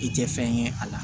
I tɛ fɛn ye a la